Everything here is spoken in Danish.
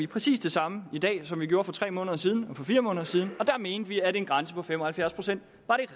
præcis det samme i dag som vi gjorde for tre måneder siden og for fire måneder siden og da mente vi at en grænse på fem og halvfjerds procent